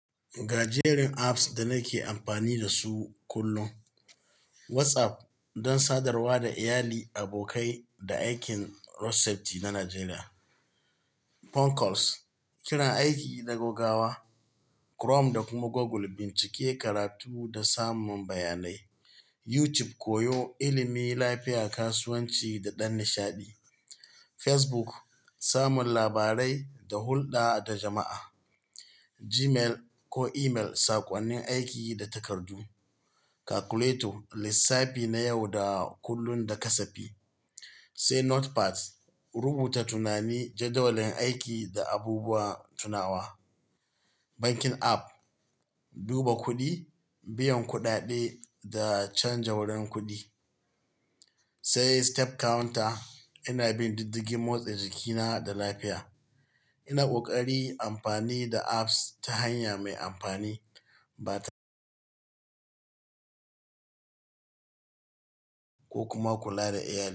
Ga jerin apps da nake amfani da su kullum. WhatsApp don sadarwa da iyali, abokai da aikin Recipe na Najeriya. Phone calls, kiran aiki da gogawa. Chrome da kuma Google, bincike, karatu da samun bayanai. YouTube, koyo, ilimi, lafiya, kasuwanci da ɗan nishaɗi. Facebook, samun labarai da hulɗa da jama'a. Gmail ko email, saƙonnin aiki da takardu. Calculator, lissafi na yau da kullun da kasafi. Sai Notepad, rubuta tunani, jadawalin aiki da abubuwan tunawa. Bankin app, duba kuɗi, biyan kuɗaɗe da canja wurin kuɗi. Sai step counter, ina bin diddigin motsin jikina da lafiya. Ina ƙoƙari amfani da apps ta hanya mai amfani ba ta ko kuma kula da iyalina.